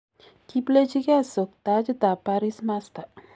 Kiplejigei Sock tajit ab Paris Master.